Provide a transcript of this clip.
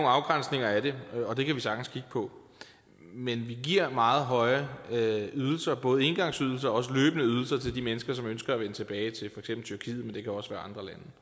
afgrænsninger af det og det kan vi sagtens kigge på men vi giver meget høje ydelser både engangsydelser og løbende ydelser til de mennesker som ønsker at vende tilbage til for eksempel tyrkiet men det kan også være